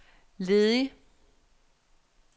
ledig